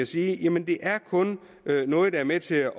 sige jamen det er kun noget der er med til at